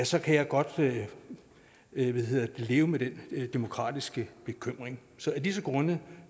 så kan jeg godt leve leve med den demokratiske bekymring så af disse grunde